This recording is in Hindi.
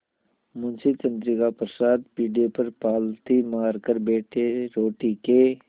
मुंशी चंद्रिका प्रसाद पीढ़े पर पालथी मारकर बैठे रोटी के